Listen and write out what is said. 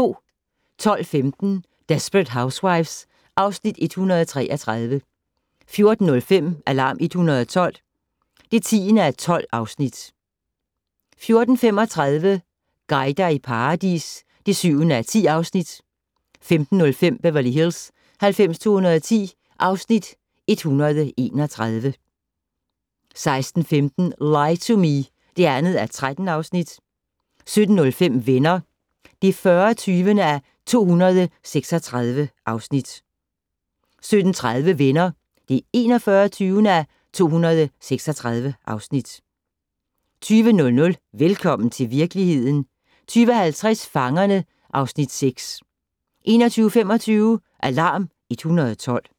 12:15: Desperate Housewives (Afs. 133) 14:05: Alarm 112 (10:12) 14:35: Guider i paradis (7:10) 15:05: Beverly Hills 90210 (Afs. 131) 16:15: Lie to Me (2:13) 17:05: Venner (40:236) 17:30: Venner (41:236) 20:00: Velkommen til virkeligheden 20:50: Fangerne (Afs. 6) 21:25: Alarm 112